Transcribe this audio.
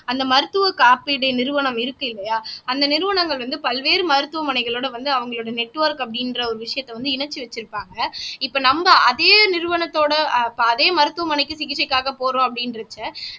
அந்த மருத்துவ காப்பீடு நிறுவனம் இருக்கு இல்லையா அந்த நிறுவனங்கள் வந்து பல்வேறு மருத்துவமனைகளோட வந்து அவங்களோட நெட்ஒர்க் அப்படின்ற ஒரு விஷயத்த வந்து இணைச்சு வச்சிருப்பாங்க இப்ப நம்ம அதே நிறுவனத்தோட அதே மருத்துவமனைக்கு சிகிச்சைக்காக போறோம் அப்படின்றச்ச